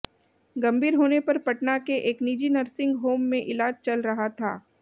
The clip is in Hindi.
गंभीर होने पर पटना के एक निजी नर्सिंग होम में इलाज चल रहा था